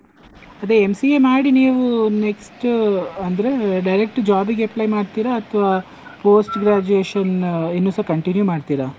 ಅದೇ MCA ಮಾಡಿ ನೀವು next ಅಂದ್ರೆ direct job ಗೆ apply ಮಾಡ್ತೀರಾ, ಅಥ್ವಾ post graduation ಇನ್ನುಸ continue ಮಾಡ್ತೀರಾ?